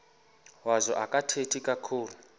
wazo akathethi kakhulu